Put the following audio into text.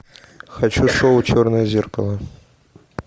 хочу шоу черное зеркало